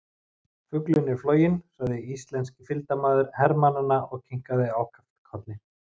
Fuglinn er floginn sagði íslenski fylgdarmaður hermannanna og kinkaði ákaft kolli.